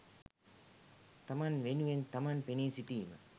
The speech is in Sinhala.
තමන් වෙනුවෙන් තමන් පෙනී සිටීම